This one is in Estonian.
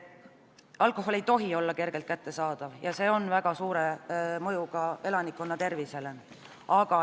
Alkohol ei tohi olla kergelt kättesaadav, selle mõju elanikkonna tervisele on väga suur.